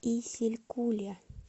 исилькуле